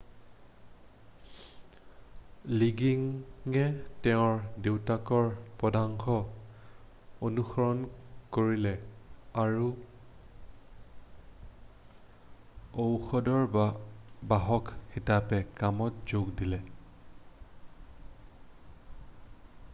লিগিঙে তেওঁৰ দেউতাকৰ পদাঙ্ককে অনুসৰণ কৰিলে আৰু ঔষধৰ বাহক হিচাপে কামত যোগ দিলে